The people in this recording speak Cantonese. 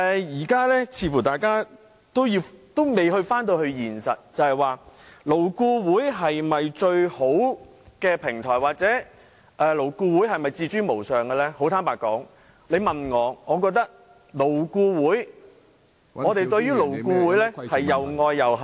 現在大家似乎還未考慮到現實問題，究竟勞顧會是否最好的平台或勞顧會是否自高無上，坦白說，於我而言，我對勞顧會又愛又恨......